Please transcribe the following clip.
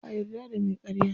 Ba'a yarda da me karya.